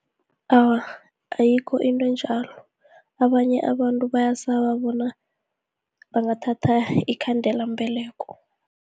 Awa, ayikho into enjalo, abanye abantu bayasaba bona bangathatha iinkhandelambeleko.